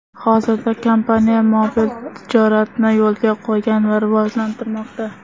Hozirda kompaniya mobil tijoratni yo‘lga qo‘ygan va rivojlantirmoqda.